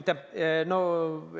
Aitäh!